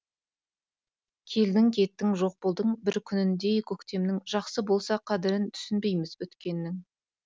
келдің кеттің жоқ болдың бір күніндей көктемнің жақсы болса қадірін түсінбейміз өткеннің